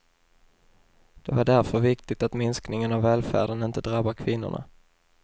Det är därför viktigt att minskningen av välfärden inte drabbar kvinnorna.